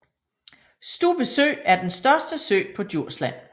Stubbe Sø er den største sø på Djursland